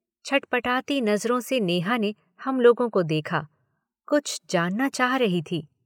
छटपटाती नजरों से नेहा ने हम लोगों को देखा, कुछ जानना चाह रही थी।